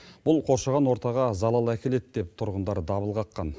бұл қоршаған ортаға залал әкеледі деп тұрғындар дабыл қаққан